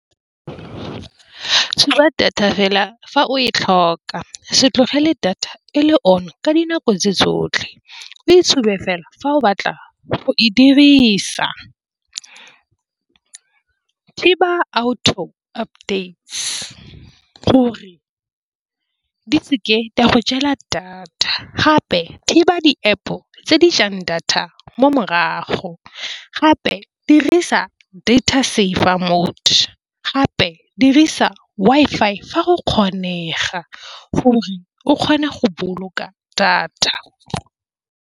Tsuba data fela fa o e tlhoka, se tlogele data e le on ka dinako tse tsotlhe. O e tshube fela fa o batla go e dirisa thiba auto update gore di seke di a go jela data gape thibe di-App o tse di jang data mo morago gape dirisa data saver mode, gape dirisa Wi-Fi fa go kgonega gore o kgone go boloka data.